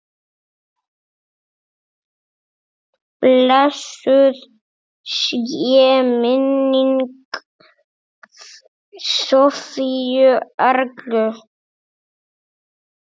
Blessuð sé minning Sofíu Erlu.